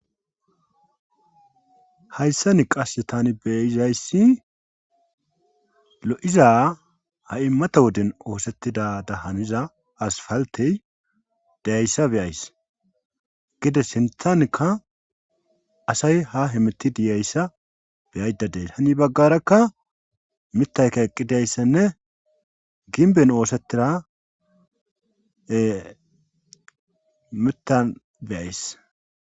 Hayssani qasse tani beizayssi lo'iza ha'i mata woden oosettidada haniza asfaltey diyayssa be'ays gedde sinthankka asay ha hemitidii yiyayssa beyaydadees hani baggarakka mitayka eqqidayssanne ginbben oosettida mitan be'ays